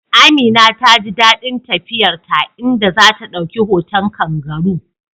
Amina ta ji dadin tafiyar ta, inda za ta dauki hoton kangaroo